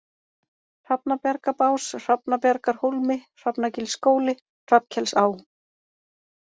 Hrafnabjargabás, Hrafnabjargahólmi, Hrafnagilsskóli, Hrafnkelsá